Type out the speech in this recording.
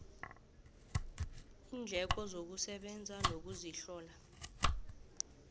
iindleko zokusebenza nokuzihlola